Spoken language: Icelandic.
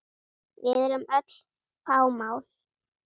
Við erum öll fámál.